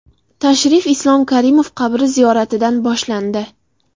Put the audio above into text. Tashrif Islom Karimov qabri ziyoratidan boshlandi.